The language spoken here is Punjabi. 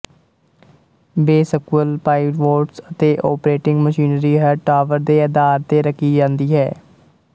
ਬੇਸਕੁਅਲ ਪਾਈਵੋਟਸ ਅਤੇ ਓਪਰੇਟਿੰਗ ਮਸ਼ੀਨਰੀ ਹਰ ਟਾਵਰ ਦੇ ਅਧਾਰ ਤੇ ਰੱਖੀ ਜਾਂਦੀ ਹੈ